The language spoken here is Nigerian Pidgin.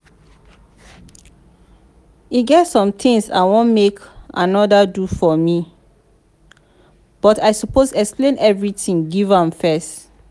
e get some things i wan make andy do for me but i suppose explain everything give am first